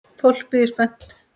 Fólk bíður spennt.